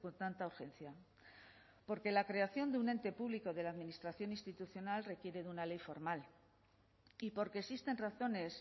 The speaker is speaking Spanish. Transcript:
tanta urgencia porque la creación de un ente público de la administración institucional requiere de una ley formal y porque existen razones